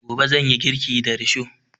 Gobe zan yi girki da risho